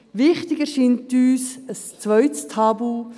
Wichtig erscheint uns ein zweites Tabu: